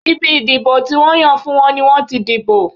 Ibi ìdìbò tí wọ́n yàn fún wọn ni wọ́n ti dìbò.